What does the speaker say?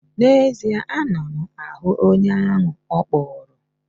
N'ezie, ana m ahụ onye ahụ ọ kpụrụ.